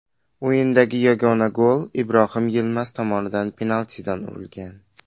O‘yindagi yagona gol Ibrohim Yilmaz tomonidan penaltidan urilgan.